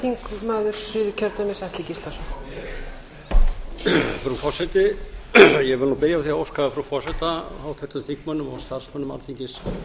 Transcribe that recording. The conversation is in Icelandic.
frú forseti ég vil byrja á því að óska frú forseta háttvirtum þingmönnum og starfsmönnum alþingis